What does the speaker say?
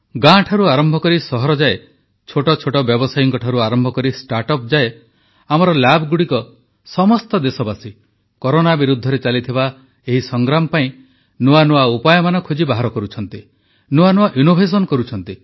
ଗାଁଠାରୁ ଆରମ୍ଭ କରି ସହରଯାଏ ଛୋଟ ଛୋଟ ବ୍ୟବସାୟୀଙ୍କଠାରୁ ଆରମ୍ଭ କରି ଷ୍ଟାର୍ଟଅପ ଯାଏଁ ଆମର ଲ୍ୟାବ ଗୁଡ଼ିକ ସମସ୍ତ ଦେଶବାସୀ କରୋନା ବିରୁଦ୍ଧରେ ଚାଲିଥିବା ଏହି ସଂଗ୍ରାମ ପାଇଁ ନୂଆ ନୂଆ ଉପାୟମାନ ଖୋଜି ବାହାର କରୁଛନ୍ତି